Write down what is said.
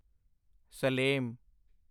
Salem